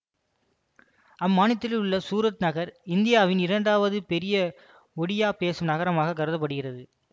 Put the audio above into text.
அம்மாநிலத்தில் உள்ள சூரத் நகர் இந்தியாவில் இரண்டாவது பெரிய ஒடியா பேசும் நகரமாக கருத படுகிறது